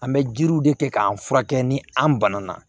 An bɛ jiriw de kɛ k'an furakɛ ni an bana na